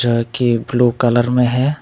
हल्के blue colour में है।